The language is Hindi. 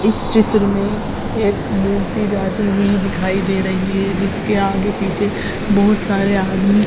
इस चित्र में एक मूर्ति जाती हुई दिखाई दे रही है जिसके आगे पीछे बहोत सारे आदमी--